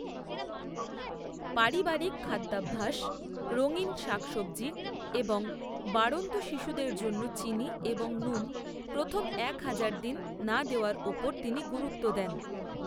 পারিবারিক খাদ্যাভ্যাস, রঙীন শাকসবজি এবং বাড়ন্ত শিশুদের জন্য চিনি এবং নুন প্রথম এক হাজার দিন না দেওয়ার ওপর তিনি গুরুত্ব দেন।